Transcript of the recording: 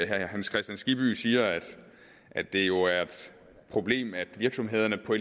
herre hans kristian skibby siger at det jo er et problem at virksomhederne på